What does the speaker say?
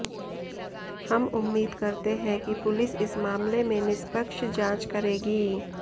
हम उम्मीद करते हैं कि पुलिस इस मामले में निष्पक्ष जांच करेगी